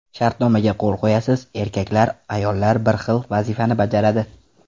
Shartnomaga qo‘l qo‘yasiz: erkaklar, ayollar bir xil vazifani bajaradi.